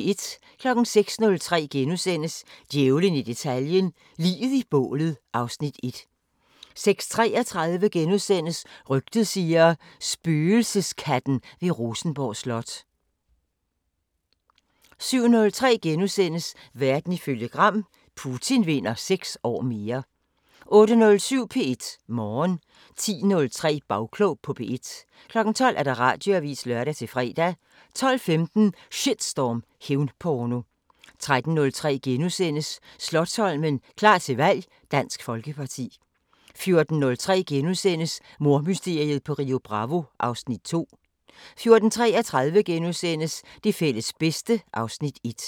06:03: Djævlen i detaljen – Liget i bålet (Afs. 1)* 06:33: Rygtet siger: Spøgelseskatten ved Rosenborg Slot * 07:03: Verden ifølge Gram: Putin vinder 6 år mere * 08:07: P1 Morgen 10:03: Bagklog på P1 12:00: Radioavisen (lør-fre) 12:15: Shitstorm: Hævnporno 13:03: Slotsholmen – klar til valg: Dansk Folkeparti * 14:03: Mordmysteriet på Rio Bravo (Afs. 2)* 14:33: Det fælles bedste (Afs. 1)*